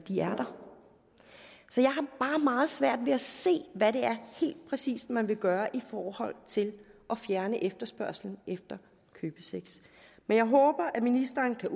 jeg har bare meget svært ved at se hvad det helt præcis er man vil gøre i forhold til at fjerne efterspørgslen på købesex men jeg håber at ministeren kan